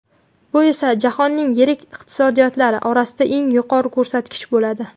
Bu esa jahonning yirik iqtisodiyotlari orasida eng yuqori ko‘rsatkich bo‘ladi.